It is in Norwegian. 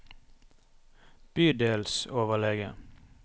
bydelsoverlege